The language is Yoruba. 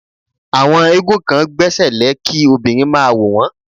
Àwọn éégún kan gbẹ́sẹ̀lẹ́ kí obìnrin máa wò wón.